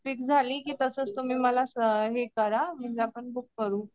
fix झाली की तसंच तुम्ही मला हे करा म्हणजे आपण बुक करू